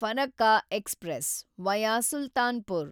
Farakka express, via Sultanpur